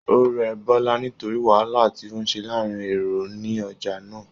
O rẹ Bọla nítorí wàhálà tí o se láàrin èrò ni ọjà náà.